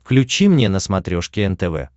включи мне на смотрешке нтв